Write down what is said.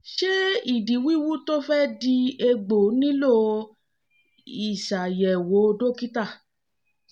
ṣé ìdí wíwú tó fẹ́ di egbò nílò ìṣàyẹ̀wò dókítà?